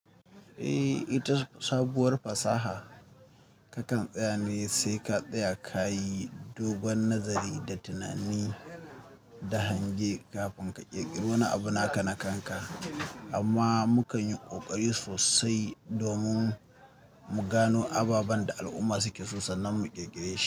Eh ita sabuwar fasaha kakan tsaya ne sai ka tsaya ka yi dogon nazari da tunani da hange kafin ka ƙirƙiri wani abu na ka na kanka. Amma mukan yi ƙoƙari sosai domin mu gano ababen da al'umma suke so sannan mu ƙirƙire shi.